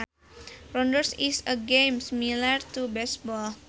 Rounders is a game similar to baseball